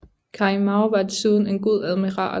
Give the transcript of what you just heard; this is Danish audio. Cai Mao var desuden en god admiral